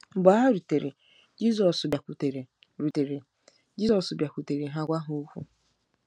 Mgbe ha rutere, “Jizọs bịakwutere rutere, “Jizọs bịakwutere ha gwa ha okwu .”